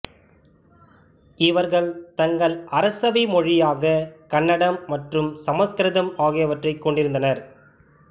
இவர்கள் தங்கள் அரசவை மொழயாக கன்னடம் மற்றும் சமசுகிருதம் ஆகியவற்றை கொண்டிருந்தனர்